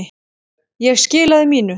Ég skilaði mínu.